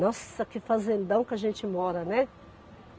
Nossa, que fazendão que a gente mora, né?